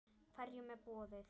Hverjum er boðið?